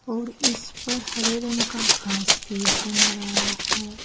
और इसपर हरे रंग का घास भी जम रहा है।